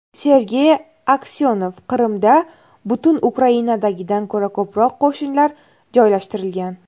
Sergey Aksyonov: Qrimda butun Ukrainadagidan ko‘ra ko‘proq qo‘shinlar joylashtirilgan.